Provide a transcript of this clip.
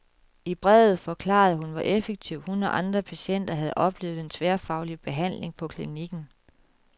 I brevet forklarede hun, hvor effektiv hun og andre patienter havde oplevet den tværfaglige behandling på klinikken.